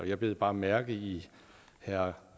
jeg bed bare mærke i herre